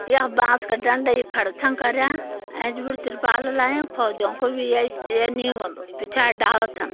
या बांस का डंडा य खड़ छ करयाँ। एंच बर तिरपाल ल लायां। फौजियों को बि येस ये नी होंदु पिछाड़ि डाला छन।